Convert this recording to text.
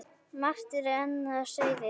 Margt er enn á seyði.